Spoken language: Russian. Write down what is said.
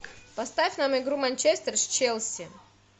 поставь нам игру манчестер с челси